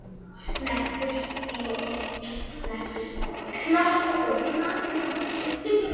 Knappur stíll.